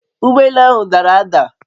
Ugbọ elu ahụ dara ada